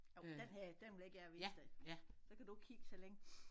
Jo denne her den vil jeg gerne vise dig så kan du ikke kigge så længe